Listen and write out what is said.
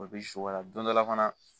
O bi sukari don dɔ la fana